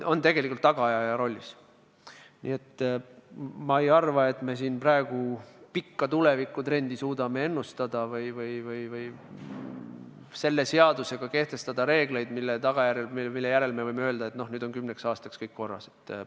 Nii et ma ei arva, et me siin praegu pikka tulevikutrendi suudaksime ennustada või kehtestada seadusega reeglid, pärast mida võiksime öelda, et nüüd on kümneks aastaks kõik korras.